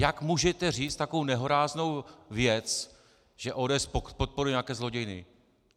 Jak můžete říct takovou nehoráznou věc, že ODS podporuje nějaké zlodějiny!